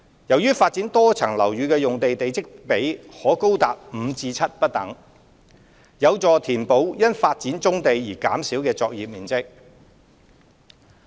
由於發展多層樓宇的用地地積比可高達5至7不等，有助填補因發展棕地而減少的作業面積。